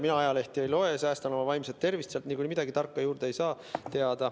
Mina ajalehti ei loe, säästan oma vaimset tervist, sealt niikuinii midagi tarka teada ei saa.